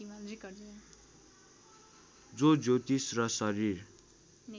जो ज्योतिष र शरीर